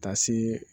Ka taa se